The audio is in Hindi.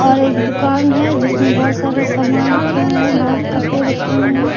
और एक दुकान है जिसमें बहुत सारे सामान रखे हुए हैं बहुत कपड़े रखे हुए हैं।